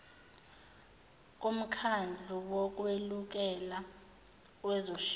bomkhandlu wokweluleka kwezoshintsho